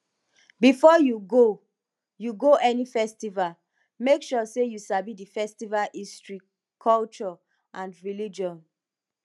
before you go you go any festival make sure say you sabi di festival history culture and religion